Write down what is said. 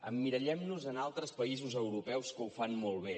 emmirallem nos en altres països europeus que ho fan molt bé